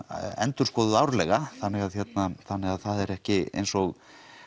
endurskoðuð árlega þannig það er ekki eins og